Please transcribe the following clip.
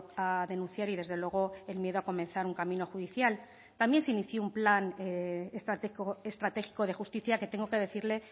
a denunciar y desde luego el miedo a comenzar un camino judicial también se inició un plan estratégico de justicia que tengo que decirle